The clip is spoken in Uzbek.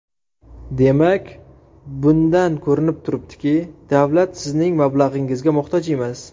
Demak, bundan ko‘rinib turibdiki, davlat sizning mablag‘ingizga muhtoj emas.